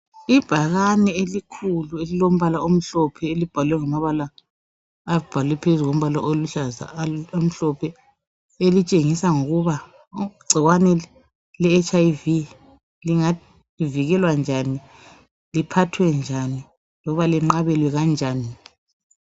Ibhakane elikhulu elimbala umhlophe elibhalwe ngamabala aluhlaza elitshengisela ukuthi icikwane le HIV lingavikelwa njani lilatshwe njani lokuba linxabelwa kanjani